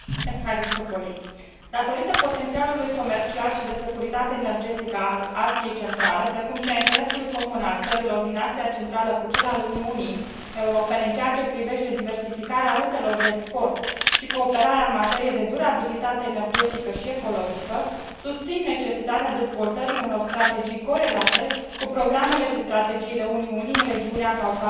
Datorită potențialului comercial și de securitate energetică al Asiei Centrale, precum și al interesului comun al țărilor din Asia Centrală cu cel al Uniunii Europene în ceea ce privește diversificarea rutelor de export și cooperarea în materie de durabilitate energetică și ecologică, susțin necesitatea dezvoltării unor strategii corelate cu programele și strategiile Uniunii în regiunea Caucazului și a Mării Negre.